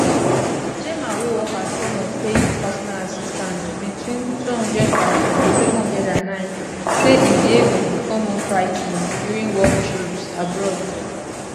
gemma wey work as one of fayed personal assistants between 200709 say im behaviour become more frigh ten ing during work trips abroad